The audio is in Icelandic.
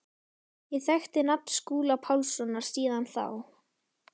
Ég þekkti nafn Skúla Pálssonar síðan þá.